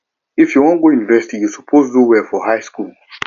if you wan go university you suppose do well for high school